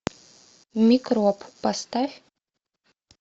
микроб поставь